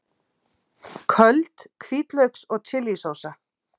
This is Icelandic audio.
Þú hlýtur að hafa einhvern grun um það fyrst þú ert komin.